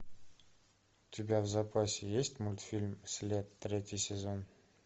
у тебя в запасе есть мультфильм след третий сезон